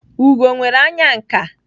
Ugo nwere anya nka.